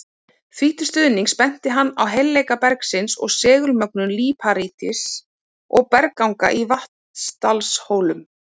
Því til stuðnings benti hann á heilleika bergsins og segulmögnun líparíts og bergganga í Vatnsdalshólum.